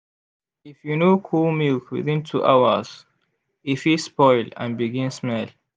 if you no cool milk within two hours e fit spoil and begin smell.